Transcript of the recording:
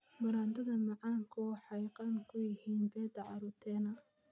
Baradhada macaanku waxay qani ku yihiin beta-carotene.